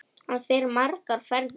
Hann fer margar ferðir.